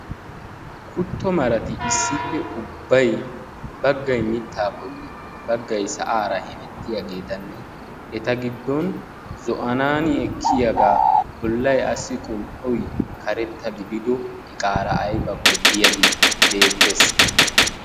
kutto marati issippe ubbay baggay mitaa bolli bagay sa'aara hemettiyaagetanne eta giddon zo'anaani ekkiyaga bolay assi qum'oy karetta gididdo iqaara aybbakko diyaagee beetees.